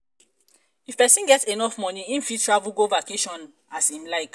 if persin get enough money im fit travel go vacation as im like